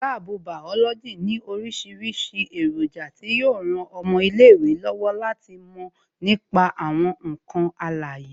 Láàbù bàọ́lọ́jì ní orísìírísìí èròjà tí yo ran ọmọ ilé ìwé lọ́wọ́ láti mò nípa àwọn ǹkan alàyè